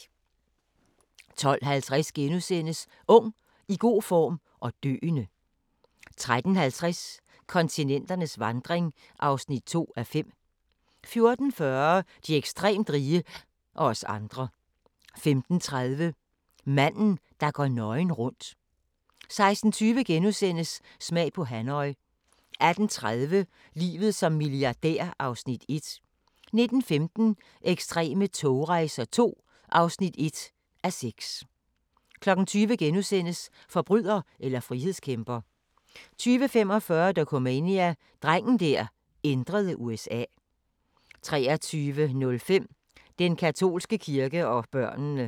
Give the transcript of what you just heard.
12:50: Ung, i god form – og døende! * 13:50: Kontinenternes vandring (2:5) 14:40: De ekstremt rige – og os andre 15:30: Manden, der går nøgen rundt 16:20: Smag på Hanoi * 18:30: Livet som milliardær (1:6) 19:15: Ekstreme togrejser II (1:6) 20:00: Forbryder eller frihedskæmper * 20:45: Dokumania: Drengen der ændrede USA 23:05: Den katolske kirke og børnene